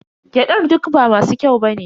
Gyadar duk ba masu kyau ba ne.